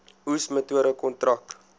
oes metode kontrak